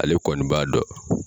Ale kɔni b'a dɔn